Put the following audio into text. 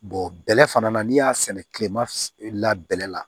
bɛlɛ fana na n'i y'a sɛnɛ kilema f labɛn la